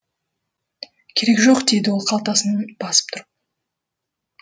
керегі жоқ дейді ол қалтасын басып тұрып